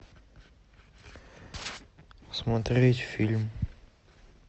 смотреть фильм